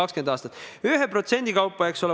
Te kindlasti juba teate, et see on mitukümmend miljonit.